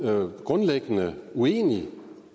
jo grundlæggende uenig